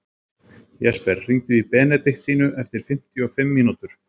Jesper, hringdu í Benediktínu eftir fimmtíu og fimm mínútur.